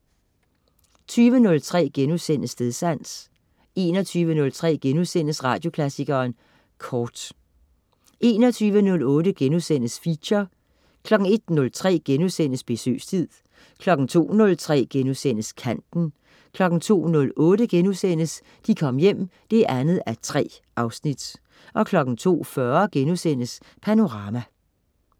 20.03 Stedsans* 21.03 Radioklassikeren Kort* 21.08 Feature* 01.03 Besøgstid* 02.03 Kanten* 02.08 De Kom Hjem 2:3* 02.40 Panorama*